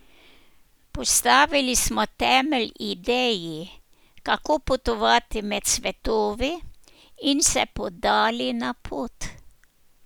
Postavili smo temelj ideji, kako potovati med svetovi, in se podali na pot.